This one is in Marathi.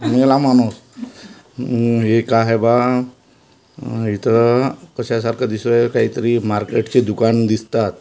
माणूस हम्म हे काय आहे बघा इथं कशासारख दिसतोय काहीतरी मार्केटची दुकान दिसतात.